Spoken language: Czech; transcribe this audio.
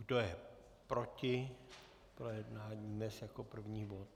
Kdo je proti projednání dnes jako první bod?